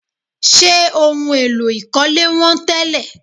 Ṣé ohun èlò ìkọ́lé wọ́n tẹ́lẹ̀?